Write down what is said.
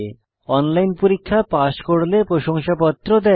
online পরীক্ষা pass করলে প্রশংসাপত্র দেয়